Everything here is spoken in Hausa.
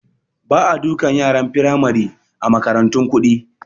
Ba a dukan yaran Firamari a makarantun kuɗi